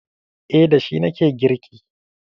Eh, da shi na ke girki.